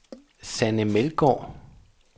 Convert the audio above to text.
Sanne Meldgaard